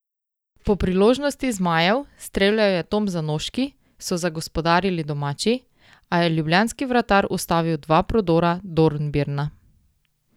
Po priložnosti zmajev, streljal je Tom Zanoški, so zagospodarili domači, a je ljubljanski vratar ustavil dva prodora Dornbirna.